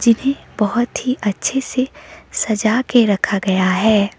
ये बहोत ही अच्छे से सजा के रखा गया हैं।